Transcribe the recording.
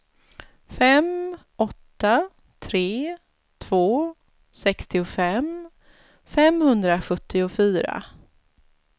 fem åtta tre två sextiofem femhundrasjuttiofyra